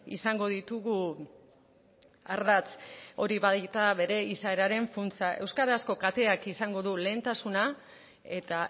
izango ditugu ardatz hori baita bere izaeraren funtsa euskarazko kateak izango du lehentasuna eta